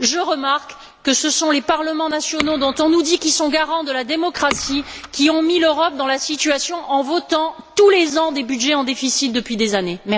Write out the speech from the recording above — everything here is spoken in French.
Je remarque que ce sont les parlements nationaux, dont on nous dit qu'ils sont garants de la démocratie, qui ont mis l'Europe dans la situation actuelle en votant, tous les ans, des budgets en déficit depuis des années.